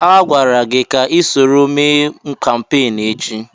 Agwara gị ka isoro mee kampeenụ́ echi!